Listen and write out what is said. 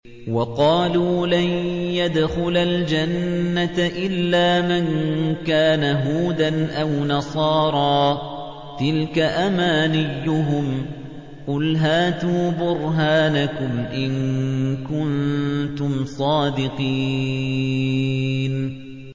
وَقَالُوا لَن يَدْخُلَ الْجَنَّةَ إِلَّا مَن كَانَ هُودًا أَوْ نَصَارَىٰ ۗ تِلْكَ أَمَانِيُّهُمْ ۗ قُلْ هَاتُوا بُرْهَانَكُمْ إِن كُنتُمْ صَادِقِينَ